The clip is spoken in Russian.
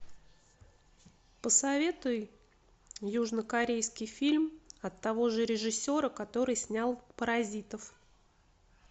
посоветуй южнокорейский фильм от того же режиссера который снял паразитов